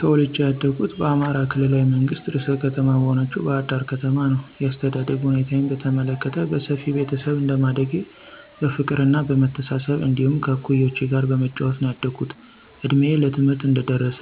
ተወልጀ ያደኩት በአማራ ክልላዊ መንግስት ርዕሰ ከተማ በሆነችው ባሕር ዳር ከተማ ነዉ። የአስተዳደግ ሁኔታዬን በተመለከት በሰፊ ቤተሰብ እንደማደጌ በፍቅርና በመተሳሰብ እንዲሁም ከእኩዮቼ ጋር በመጫወት ነዉ ያደኩት። እድሜዬ ለትምህርት እንደደረሰ